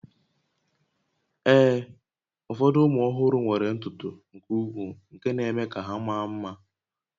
Ee, ụfọdụ ụmụ ọhụrụ nwere ntutu nke ukwuu nke na-eme ka ha maa mma